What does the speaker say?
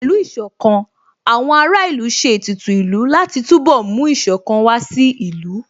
Pẹ̀lú Ìṣọ̀kan, àwọn ará ìlú ṣe ètùtù ìlú láti túnbọ̀ mú Ìṣọ̀kan wá sí ìlú